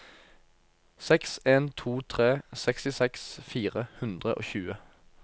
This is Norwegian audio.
seks en to tre sekstiseks fire hundre og tjue